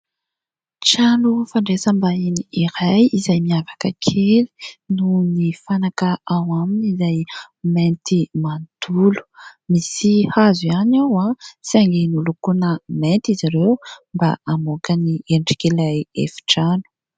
Trano fandraisambahiny iray izay miavaka kely noho ny fanaka ao aminy izay mainty manontolo. Misy hazo ihany ao saingy nolokoina mainty izy ireo mba hamoaka ny endrik'ilay efitrano.